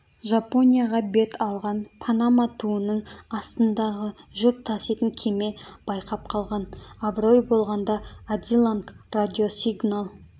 жапонияға бет алған панама туының астындағы жүк таситын кеме байқап қалған абырой болғанда адиланг радиосигнал